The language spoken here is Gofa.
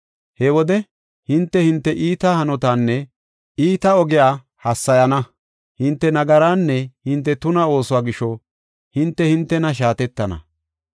He wode hinte, hinte iita hanotaanne iita ogiya hassayana. Hinte nagaraanne hinte tuna oosuwa gisho, hinte hintena shaatettana.